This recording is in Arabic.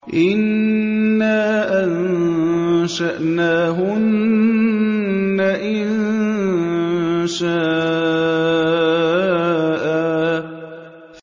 إِنَّا أَنشَأْنَاهُنَّ إِنشَاءً